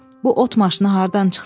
Bu ot maşını hardan çıxdı?